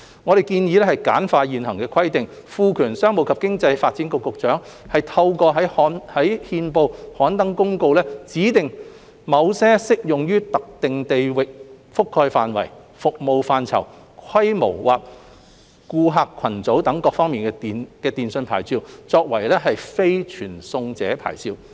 我們建議簡化現行規定，賦權商務及經濟發展局局長透過在憲報刊登公告，指定某些適用於特定地域覆蓋範圍、服務範疇、規模或顧客群組等各方面的電訊牌照為非傳送者牌照。